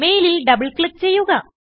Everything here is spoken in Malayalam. മെയിലിൽ ഡബിൾ ക്ലിക്ക് ചെയ്യുക